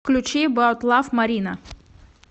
включи эбаут лав марина